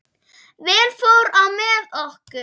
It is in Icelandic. Vel fór á með okkur.